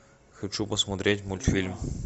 хочу посмотреть мультфильм